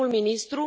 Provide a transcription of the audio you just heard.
Primul ministru?